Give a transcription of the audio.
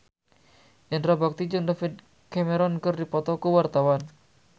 Indra Bekti jeung David Cameron keur dipoto ku wartawan